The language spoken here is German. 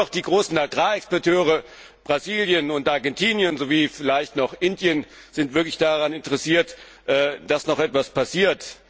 Nur noch die großen Agrarexporteure Brasilien und Argentinien sowie vielleicht noch Indien sind wirklich daran interessiert, dass noch etwas passiert.